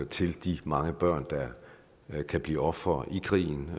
til de mange børn der kan blive ofre i krigen